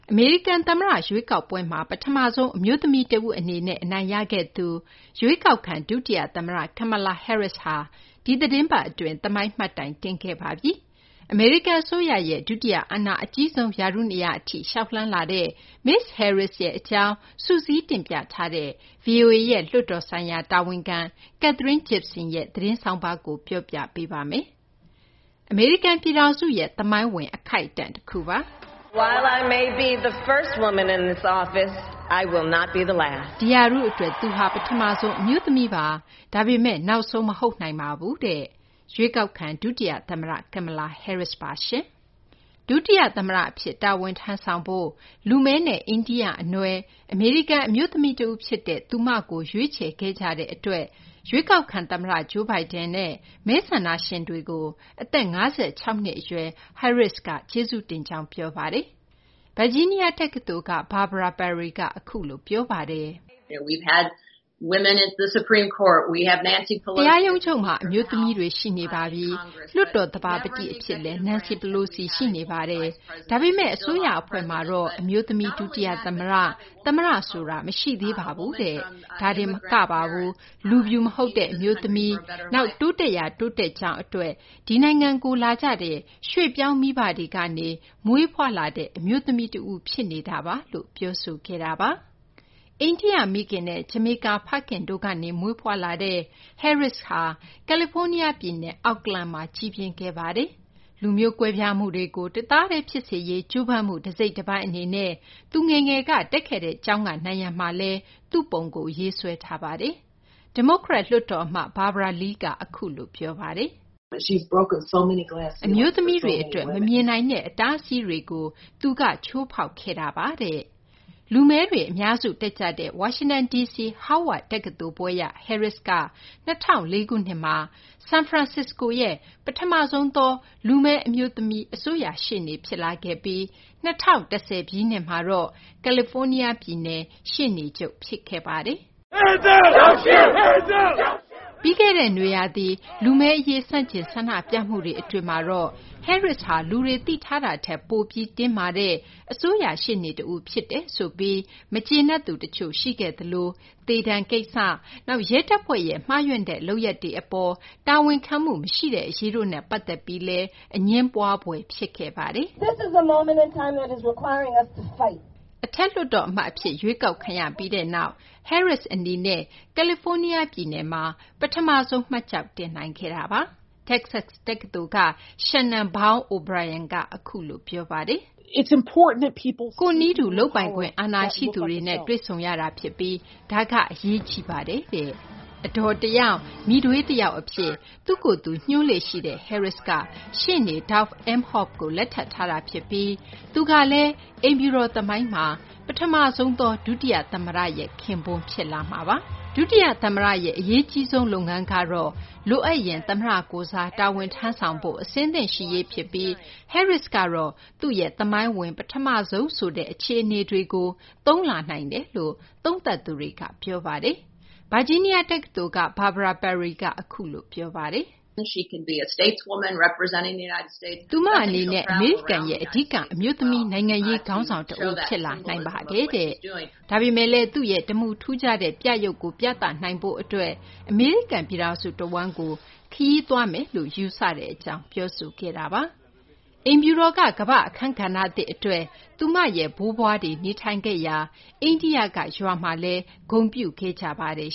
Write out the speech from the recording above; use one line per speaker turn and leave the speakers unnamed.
အမေရိကန် သမ္မတ ရွေးကောက်ပွဲမှာ ပထမဆုံး အမျိုးသမီးတဦး အနေနဲ့ အနိုင်ရခဲ့သူ ရွေးကောက်ခံ ဒုတိယ သမ္မတ Kamala Harris ဟာ ဒီသီတင်းပတ် အတွင်း သမိုင်းမှတ်တိုင် တင်ခဲ့ပါပြီ။ အမေရိကန် အစိုးရရဲ့ ဒုတိယ အာဏာအကြီးဆုံး ရာထူးနေရာ အထိ လျှောက်လှမ်းလာတဲ့ မစ္စ Harris ရဲ့ အကြောင်းစုစည်းတင်ပြထားတဲ့ ဗွီအိုအေရဲ့ လွှတ်တော်ဆိုင်ရာ တာဝန်ခံ Katherine Gypson ရဲ့ ဆောင်းပါးကို မသိင်္ဂ ီထိုက် ပြောပြပေးမှာပါ။ အမေရိကန် ပြည်ထောင်စုရဲ့ သမိုင်းဝင် အခိုက်အတန့် တခုပါ။ ရွေးကောက်ခံ ဒုတိယ သမ္မတ Kamala Harris က “ဒီရာထူး အတွက် ကျမက ပထမဆုံး အမျိုးသမီးပါ။ ဒါပေမယ့် နောက်ဆုံး မဟုတ်နိုင်ပါဘူး။” အမေရိကန်ရဲ့ ဒုတိယ သမ္မတ အဖြစ် တာဝန်ထမ်းဆောင်ဖို့ လူမည်းနဲ့ အိန္ဒိယ အနွယ် အမေရိကန် အမျိုးသမီး တဦးဖြစ်တဲ့ သူမကို ရွေးချယ်ခဲ့ကြတဲ့ အတွက်လည်း ရွေးကောက်ခံ သမ္မတ Joe Biden နဲ့ မဲဆန္ဒရှင်တွေကို အသက် ၅၆ နှစ် အရွယ် Harris က ကျေးဇူးတင်ကြောင်း ပြောပါတယ်။ ဗာဂျီးနီးယား တက္ကသိုလ်က Barbara Perry က အခုလို ပြောပါတယ်။ “တရာရုံးချုပ်မှာ အမျိုးသမီးတွေ ရှိနေပါပြီ။ လွှတ်တော် သဘာပတိ အဖြစ် Nancy Pelosi ရှိနေပါတယ်။ ဒါပေမယ့် အစိုးရ အဖွဲ့မှာတော့ အမျိုးသမီး ဒုတိယ သမ္မတ၊ သမ္မတ ဆိုတာ မရှိသေးပါဘူး။ ဒါတင်မဟုတ်ပါဘူး လူဖြူမဟုတ်တဲ့ အမျိုးသမီး တဦး၊ နောက် တိုးတက်ရာ တိုးတက်ကြောင်း အတွက် ဒီနိုင်ငံကို လာကြတဲ့ ရွှေ့ပြောင်းမိဘတွေကနေ မွေးဖွားလာတဲ့ အမျိုးသမီး တဦး ဖြစ်နေတာပါ။” အိန္ဒိယ မိခင်နဲ့ ဂျမေကား ဖခင်တို့ကနေ မွေးဖွားလာတဲ့ Harris ဟာ ကယ်လီဖိုးနီးယား ပြည်နယ် Oakland မှာ ကြီးပြင်းခဲ့သူပါ။ လူမျိုးကွဲပြားမှုတွေကို တသားတည်းဖြစ်စေရေး ကြိုးပမ်းမှု တစိတ်တပိုင်း အနေနဲ့ သူငယ်စဉ်က တက်ခဲ့တဲ့ ကျောင်းက နံရံမှာ သူ့ပုံကို ရေးဆွဲထားပါတယ်။ ဒီမိုကရက် လွှတ်တော် အမတ် Barbara Lee က “အမျိုးသမီးတွေ အတွက် မမြင်နိုင်တဲ့ အတားအဆီးတွေကို သူက ချိုးဖောက်ခဲ့တာပါ။” လူမည်းတွေ အများစု တက်ရောက်ကြတဲ့ ဝါရှင်တန်ဒီစီ Howard တက္ကသိုလ် ဘွဲ့ရ Harris က ၂၀၀၄ ခုနှစ်မှာ ဆန်ဖရန်စစ္စကိုရဲ့ ပထမဆုံးသော လူမည် အမျိုးသမီး အစိုးရ ရှေ့နေ ဖြစ်လာခဲ့ပြီး ၂၀၁၀ ပြည့်နှစ် မှာတော့ ကယ်လီဖိုးနီးယား ပြည်နယ် ရှေ့နေချုပ် ဖြစ်လာခဲ့ပါတယ်။ ပြီးခဲ့တဲ့ နွေရာသီက လူမည်းအရေး ဆန့်ကျင် ဆန္ဒပြမှုတွေ အတွင်းမှာတော့ Harris ဟာ လူတွေ သိထားတာထက် ပိုပြီး တင်းမာတဲ့ အစိုးရ ရှေ့နေတဦးဖြစ်တယ် ဆိုပြီး မကျေနပ်သူ တချို့ ရှိခဲ့သလို သေဒဏ်ကိစ္စ၊ နောက် ရဲတပ်ဖွဲ့ရဲ့ မှားယွင်းတဲ့ လုပ်ရပ်တွေ အပေါ် တာဝန်ခံမှု မရှိတဲ့ အရေးတို့နဲ့ ပတ်သက်ပြီးလည်း အငြင်းပွားဖွယ် ဖြစ်ခဲ့ပါတယ်။ အထက်လွှတ်တော် အမတ် အဖြစ် ရွေးကောက်ခံရ ပြီးနောက် Harris အနေနဲ့ ကယ်လီဖိုးနီးယား ပြည်နယ်မှာ ပထမဆုံး မှတ်ကျောက်တင်နိုင်ခဲ့တာပါ။ တက္ကဆက် တက္ကသိုလ်က Shannon Bow O’Brien က အခုလို ပြောပါတယ်။ “ကိုယ့်နည်းတူ လုပ်ပိုင်ခွင့် အာဏာရှိသူတွေနဲ့ တွေ့ဆုံရတာဖြစ်ပြီး ဒါက အရေးကြီးပါတယ်။” အဒေါ် တယောက်၊ မိထွေး တယောက် အဖြစ် သူ့ကိုယ်သူ ညွှန်းလေ့ ရှိတဲ့ Harris က ရှေ့နေ Doug Emhoff ကို လက်ထပ်ထားတာ ဖြစ်ပြီး သူကလည်း အိမ်ဖြူတော် သမိုင်းမှာ ပထမဆုံ ဒုသမ္မတရဲ့ ခင်ပွန်း ဖြစ်လာမှာပါ။ ဒုတိယ သမ္မတရဲ့ အရေးကြီးဆုံး လုပ်ငန်းကတော့ လိုအပ်ရင် သမ္မတကိုယ်စား တာဝန်ထမ်းဖို့ အဆင့်သင့် ရှိရေး ဖြစ်ပြီး Harris ကတော့ သူ့ရဲ့ သမိုင်းဝင် ပထမဆုံး ဆိုတဲ့ အခြေအနေတွေကို သုံးလာနိုင်တယ်လို့ သုံးသပ်သူတွေက ပြောပါတယ်။ ဗာဂျီးနီးယား တက္ကသိုလ်က Barbara Perry က အခုလို ပြောပါတယ်။ “သူမ အနေနဲ့ အမေရိကန်ရဲ့ အဓိက အမျိုးသမီး နိုင်ငံရေး ခေါင်းဆောင် တဦး ဖြစ်လာနိုင်ပါတယ်။ ဒါပေမယ့်လည်း သူ့ရဲ့ တမူထူးခြားတဲ့ ပြယုဂ်ကို ပြသနိုင်ရေး အမေရိကန် ပြည်ထောင်စု တဝန်းကို ခရီးသွားမယ်လို့ ကျမက ယူဆပါတယ်။” အိမ်ဖြူတော်က ကမ္ဘာ့အခန်းကဏ္ဍသစ် အတွက် သူမရဲ့ ဘိုးဘွားတွေ နေထိုင်ခဲ့ရာ အိန္ဒိယက ရွာမှာလည်း ဂုဏ်ပြုခဲ့ကြပါတယ်